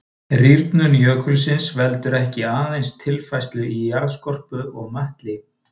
Rýrnun jökulsins veldur ekki aðeins tilfærslum í jarðskorpu og möttli.